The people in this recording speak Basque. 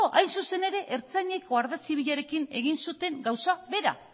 hain zuzen ere ertzainek guardia zibilarekin egin zuten gauza bera